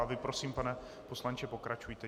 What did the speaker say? A vy prosím, pane poslanče, pokračujte.